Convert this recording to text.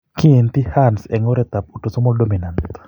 Kiinti HERNS eng' oretap autosomal dominant.